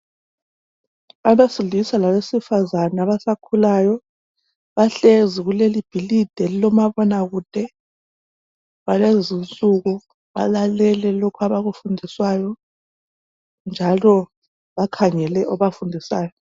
Abafundisa abesifazana abasakhulayo bahlezi kulelibhilidi elilomabona kude lwalezi insuku balalele lokhu abakufundiswayo njalo bakhangele obafundisayo